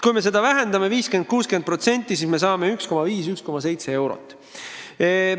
Kui see väheneb 50–60%, siis me saame vastu 1,5–1,7 eurot.